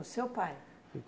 O seu pai?